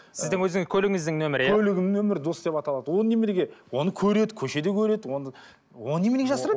сіздің өзің көлігіңіздің нөмірі иә көлігімнің нөмірі дос деп аталады оны неменеге оны көреді көшеде көреді она оны неменеге жасырамын